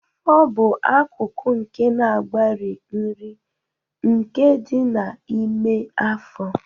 Afọ bụ akụkụ nke na-agbari nri, nke dị n'ime afọ.